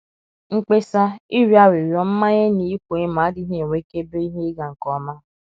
mkpesa, ịrịọ arịrịọ, mmanye, na ịkwa emo adịghị enwekebe ihe ịga nke ọma.